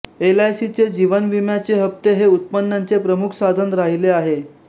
एलआयसीचे जीवनविम्याचे हप्ते हे उत्पन्नाचे प्रमुख साधन राहिले आहे